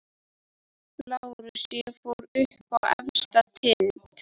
LÁRUS: Ég fór upp á efsta tind.